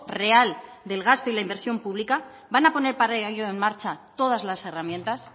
real del gasto y la inversión pública van a poner para ello en marcha todas las herramientas